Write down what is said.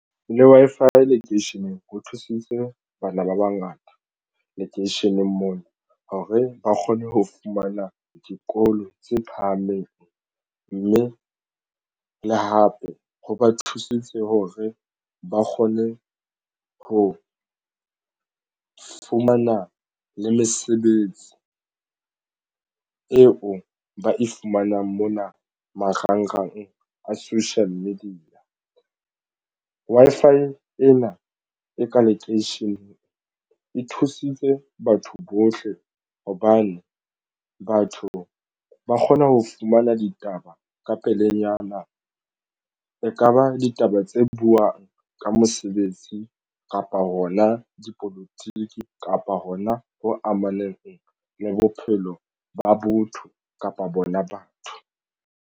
Le Wi-Fi lekeisheneng ho thusitse bana ba bangata lekeisheneng moo hore ba kgone ho fumana dikolo tse phahameng mme le hape ho ba thusitse hore ba kgone ho fumana le mesebetsi eo ba e fumanang mona marangrang a social media Wi-Fi ena e ka lekeisheneng e thusitse batho bohle hobane batho ba kgona ho fumana ditaba ka pelenyana ekaba ditaba tse buwang ka mosebetsi kapa hona dipolotiki kapa hona ho amaneng le bophelo ba botho kapa bona batho.